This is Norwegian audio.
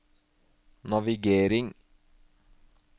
navigering